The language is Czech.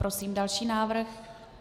Prosím další návrh.